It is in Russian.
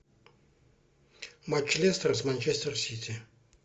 матч лестер с манчестер сити